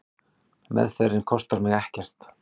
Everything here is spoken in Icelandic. Meðferðin kostar mig ekkert.